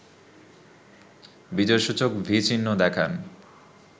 বিজয়সূচক V চিহ্ন দেখান